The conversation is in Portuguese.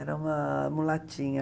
Era uma mulatinha.